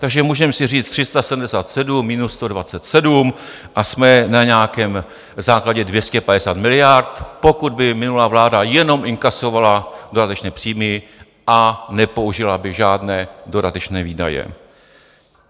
Takže můžeme si říct 377 minus 127 a jsme na nějakém základě 250 miliard, pokud by minulá vláda jenom inkasovala dodatečné příjmy a nepoužila by žádné dodatečné výdaje.